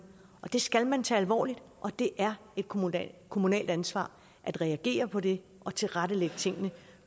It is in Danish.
og det skal man tage alvorligt og det er et kommunalt kommunalt ansvar at reagere på det og tilrettelægge tingene